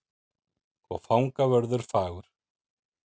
Og fangavörður fagur.